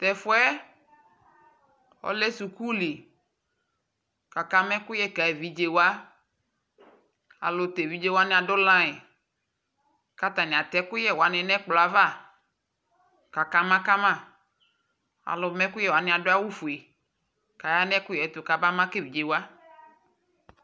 Tʋ ɛfʋ yɛ ɔlɛ suku li kʋ akama ɛkʋyɛ ka evidze wa Alʋ tʋ evidze wanɩ adʋ layɩn kʋ atanɩ atɛ ɛkʋyɛ wanɩ nʋ ɛkplɔ ava kʋ akama ka ma Alʋma ɛkʋyɛ wanɩ adʋ awʋfue kʋ aya nʋ ɛkʋyɛ yɛ tʋ kabama ka evidze wa